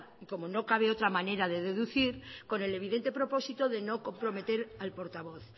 y como no cabe otra manera de deducir con el evidente propósito de no comprometer al portavoz